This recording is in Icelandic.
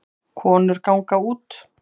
Konur ganga út